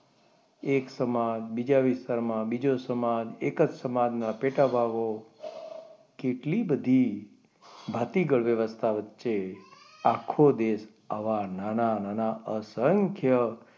એક સમાજ બીજા વિસ્તારમાં બીજો સમાજ એક જ સમાજના પેટા ભાગો કેટલી બધી ભાતીગળ વ્યવસ્થા વચ્ચે આખો દેશ આવા નાના નાના અસંખ્ય,